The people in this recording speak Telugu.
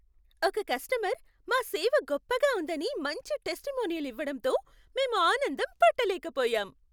ఒక కస్టమర్ మా సేవ గొప్పగా ఉందని మంచి టెస్టిమోనియల్ ఇవ్వడంతో మేము ఆనందం పట్టలేకపోయాం.